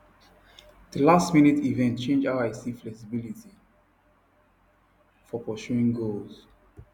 that lastminute event change how i see flexibility for pursuing goals